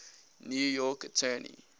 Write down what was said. new york attorney